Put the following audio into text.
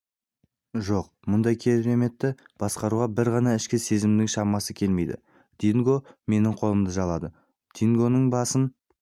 жоқ мұндай кереметті басқаруға бір ғана ішкі сезімнің шамасы келмейді динго менің қолымды жалады дингоның басын